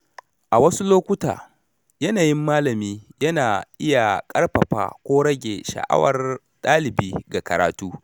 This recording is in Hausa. A wasu lokuta, yanayin malami yana iya ƙarfafa ko rage sha’awar dalibi ga karatu.